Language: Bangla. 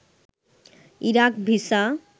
Iraq visa